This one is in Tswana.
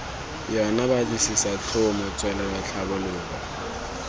yona batlisisa tlhomo tswelelo tlhabololo